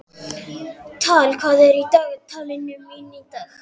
Tala, hvað er í dagatalinu mínu í dag?